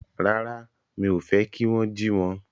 Rárá, mi ò fẹ́ kí wón jí wọn